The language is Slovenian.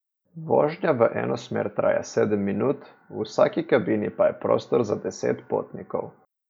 Vožnja v eno smer traja sedem minut, v vsaki kabini pa je prostor za deset potnikov.